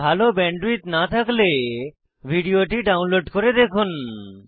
ভাল ব্যান্ডউইডথ না থাকলে ভিডিওটি ডাউনলোড করে দেখুন